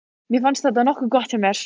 Mér fannst þetta nokkuð gott hjá mér.